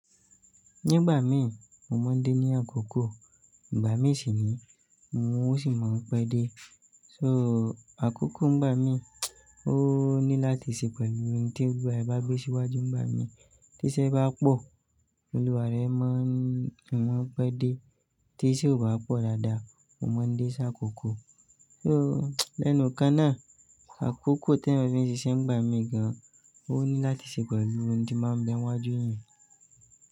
Nígbà mi, mo máa ń dé ní àkókò, ìgbà mí sì ní, n ó sì máa ń pẹ́ dé. So àkókò ń gbá mi, o ní láti ṣe pẹ̀lú ohun tí olúwa ẹ bá gbé síwájú ń bá mi. Tí iṣẹ́ bá pọ̀, olúwa rẹ máa ń, ọn máa ń pẹ́ dé. Tí iṣẹ́ ò bá pọ̀ dáadáa, mo máa ń dé sáà kò kò. So lẹ́nu kan náà, àkókò tí èèyàn fi ń ṣiṣẹ́ ń gbà mí gan, o ní láti ṣe pẹ̀lú ohun tí máa ń bé wájú èèyàn.